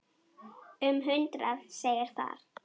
Um hundrað segir þar